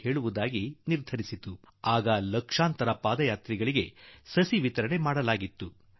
ಈ ಸಸ್ಯ ಪ್ರಸಾದದ ಕಾಳಜಿ ಮಾಡಿ ಎಂದು ಆ ಪಾದಯಾತ್ರೆಗಳಿಗೆ ತಿಳಿಸಲು ತೀರ್ಮಾನಿಸಿತು